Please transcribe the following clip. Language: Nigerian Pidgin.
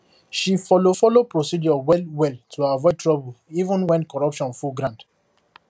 she follow follow procedure well well to avoid trouble even when corruption full ground